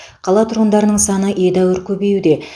қала тұрғындарының саны едәуір көбеюде